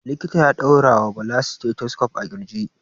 Likita ya ɗaura wa Bala stethoscope a ƙirji.